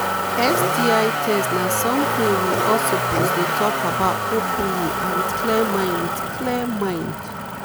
sti test na something we all suppose dey talk about openly and with clear mind with clear mind